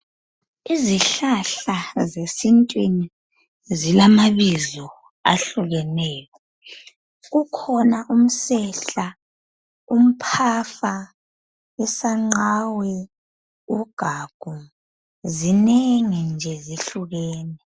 Izihlahla zesintwini zilamabizo ahlukeneyo. Kukhona umsehla, umphafa, isanqawe, ugagu, zinengi nje zihlukene.